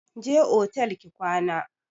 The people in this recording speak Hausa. Je otel ki kwana!